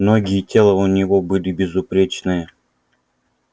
ноги и тело у него были безупречные